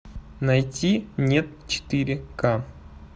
найти нет четыре ка